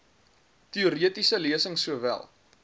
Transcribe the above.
teoretiese lesings sowel